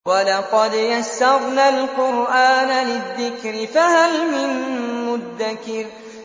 وَلَقَدْ يَسَّرْنَا الْقُرْآنَ لِلذِّكْرِ فَهَلْ مِن مُّدَّكِرٍ